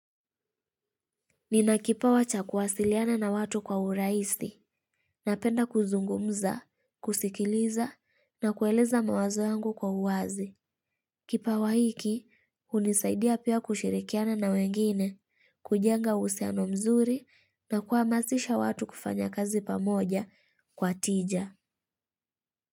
Nina kipawa cha kuwasiliana na watu kwa urahisi, napenda kuzungumza, kusikiliza na kueleza mawazo yangu kwa uwazi. Kipawa hiki, hunisaidia pia kushirikiana na wengine, kujenga uhusiano mzuri na kuhamasisha watu kufanya kazi pamoja kwa tija.